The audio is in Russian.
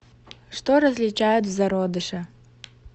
что различают в зародыше